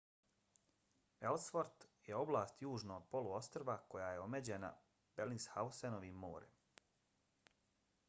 ellsworth je oblast južno od poluostrva koja je omeđena belingshausenovim morem